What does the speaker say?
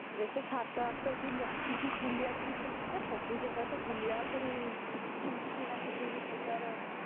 ତ ସାତ ଆଠ ଦିନ ରଖି କି ବୁଲିବା ପାଇଁ ପଡିବ ନା ସବୁ ଜାଗା ତ ବୁଲିବା ପୁଣି କିଛି କିଣା କିଛି ବି କରିବାର ଅଛି